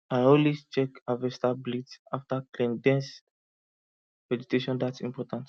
i always check harvester blades after clearing dense vegetation that important